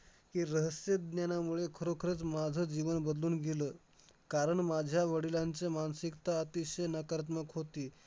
हे रहस्य ज्ञानामुळं खरोखरच माझं जीवन बदलून गेलं, कारण माझ्या वडिलांचं मानसिकता अतिशय नकारात्मक होती.